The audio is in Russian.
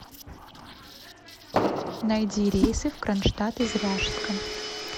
найди рейсы в кронштадт из ряжска